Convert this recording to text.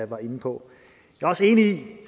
var inde på